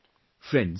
Friends,